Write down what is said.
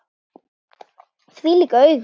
Þvílík augu!